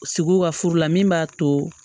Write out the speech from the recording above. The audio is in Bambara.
Sigiw ka furu la min b'a to